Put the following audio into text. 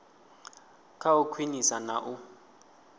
kha u khwinisa na u